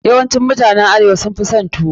Yawancin mutanen arewa sun fi son tuwo.